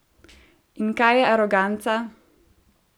In kaj je aroganca?